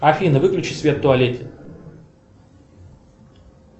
афина выключи свет в туалете